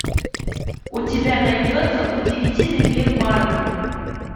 у тебя найдется удивительный мир марвена